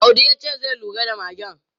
Audi ya ce zai lura da magen.